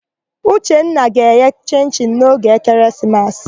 Uchenna ga-eghe chịn-chịn n'oge ekeresimesi.